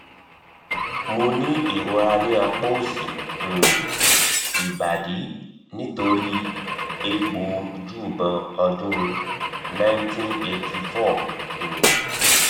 mo ní ìrora ní apa òsì um ibadi nitori egbo oju ibon ọ́dún nineteen eighty four um